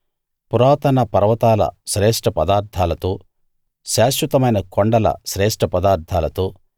పురాతన పర్వతాల శ్రేష్ఠ పదార్థాలతో శాశ్వతమైన కొండల శ్రేష్ఠ పదార్థాలతో